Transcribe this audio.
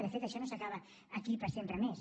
de fet això no s’acaba aquí per sempre més